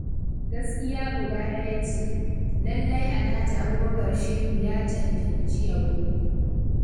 Gaskiya guda ɗaya ce, lallai Alhaji Abubakar Shehu ya cancanci yabo.